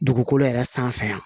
Dugukolo yɛrɛ sanfɛ yan